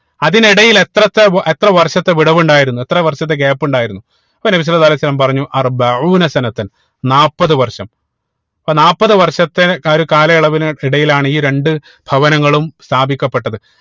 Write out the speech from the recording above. അതിനിടയിൽ എത്രത്തെ എത്ര വ വർഷത്തെ വിടവ് ഉണ്ടായിരുന്നു എത്ര വർഷത്തെ Gap ഉണ്ടായിരുന്നു അപ്പൊ നബി സ്വല്ലള്ളാഹു അലൈഹി വസല്ലം പറഞ്ഞു നാപ്പത് വർഷം അപ്പോ നാപ്പത് വർഷത്തെ ഒര് കാലയളവിന് ഇടയിലാണ് ഈ രണ്ട് ഭവനങ്ങളും സ്ഥാപിക്കപ്പെട്ടത്